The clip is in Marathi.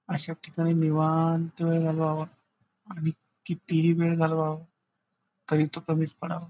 अशाठिकाणी निवांत वेळ घालवावा आणि कितीही वेळ घालवावा तरी तो कमीच पडावा.